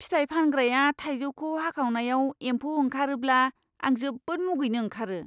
फिथाइ फानग्राया थाइजौखौ हाखावनायाव एमफौ ओंखारबोब्ला, आं जोबोद मुगैनो ओंखारो!